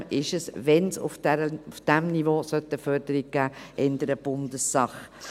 Zudem ist es, wenn es auf diesem Niveau eine Förderung geben sollte, eher Bundessache.